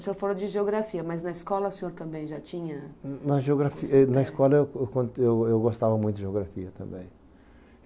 O senhor falou de geografia, mas na escola o senhor também já tinha... Na geografia êh escola eu eu eu eu eu gostava muito de geografia também.